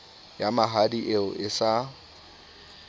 ya mahadi eo e sa